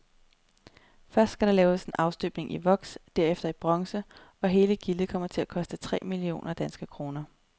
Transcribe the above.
Først skal der laves en afstøbning i voks, derefter i bronze, og hele gildet kommer til at koste tre millioner danske kroner.